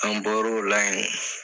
An bɔr'o la ye.